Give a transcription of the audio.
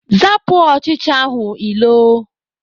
Zapụ ọchịcha ahụ ilo!